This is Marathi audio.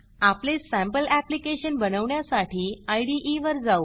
आपले सँपल ऍप्लिकेशन बनवण्यासाठी इदे वर जाऊ